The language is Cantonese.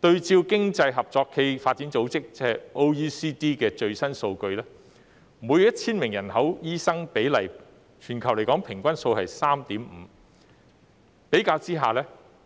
對照經濟合作與發展組織的最新數據，每 1,000 名人口的醫生比例，全球平均數是 3.5， 相比之下，